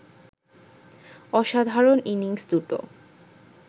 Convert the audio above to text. অসাধারণ ইনিংস দুটো